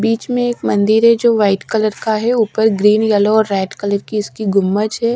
बीच में एक मंदिर है जो वाइट कलर का है ऊपर ग्रीन येलो और रेड कलर की इसकी गुम्मज हैं।